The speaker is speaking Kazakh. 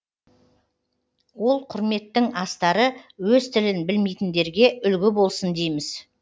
ол құрметтің астары өз тілін білмейтіндерге үлгі болсын дейміз